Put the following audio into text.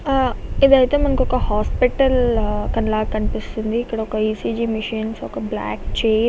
ఆహ్ ఇది ఐతే మనకి ఒక హాస్పిటల్ కనలా కనిపిస్తుంది.ఇక్కడ ఒక ఈసీజీ మిషన్ ఒక బ్లాక్ చైర్ --